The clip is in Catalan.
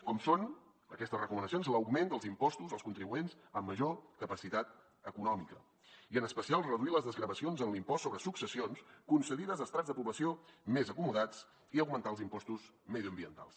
com són aquestes recomanacions l’augment dels impostos als contribuents amb major capacitat econòmica i en especial reduir les desgravacions en l’impost sobre successions concedides a estrats de població més acomodats i augmentar els impostos mediambientals